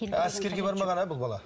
әскерге бармаған ә бұл бала